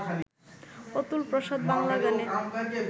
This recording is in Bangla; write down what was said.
অতুলপ্রসাদ বাংলা গানে